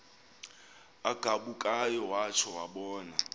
agabukayo watsho wabona